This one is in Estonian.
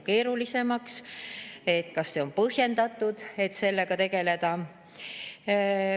kas see on põhjendatud, et sellega tegeleda.